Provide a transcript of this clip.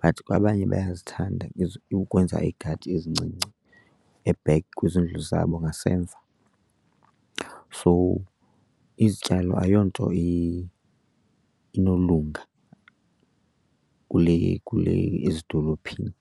but kwabanye bayazithanda ukwenza iigadi ezincinci e-back kwizindlu zabo ngasemva. So izityalo ayonto inolunga kule, kule ezidolophini.